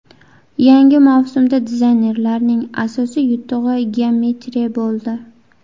Yangi mavsumda dizaynerlarning asosiy yutug‘i geometriya bo‘ldi.